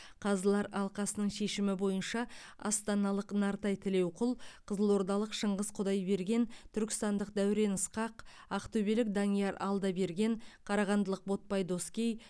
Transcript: қазылар алқасының шешімі бойынша астаналық нартай тілеуқұл қызылордалық шыңғыс құдайберген түркістандық дәурен ысқақ ақтөбелік данияр алдаберген қарағандылық ботпай доскей